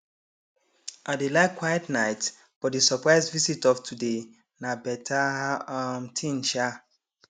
i dey like quiet nights but di surprise visit of today na beta um thing um